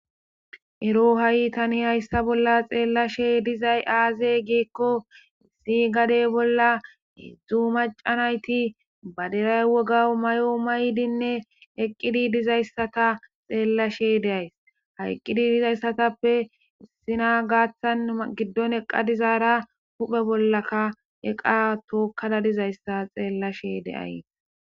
Ero ha'i tani hayssa bolla xeellashe dizay aazey geekko issi gadey bolla heedzdzu macanayti baderay woga may'o maydinne eqqidi dizayssata xeellashe deays hayqqidi dizayssatappe issina gaaththan giddon eqa dizaara huphe bollaka eqa tookkada dizayssa xeellashe deays.